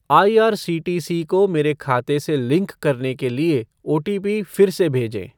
IRCTC को मेरे खाते से लिंक करने के लिए ओटीपी फिर से भेजें ।